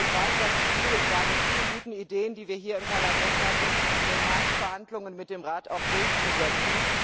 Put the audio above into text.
Ich weiß, dass es schwierig war, die vielen guten Ideen, die wir hier im Parlament hatten, in den harten Verhandlungen mit dem Rat auch durchzusetzen.